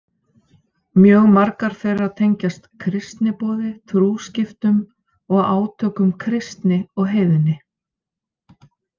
Mjög margar þeirra tengjast kristniboði, trúskiptum og átökum kristni og heiðni.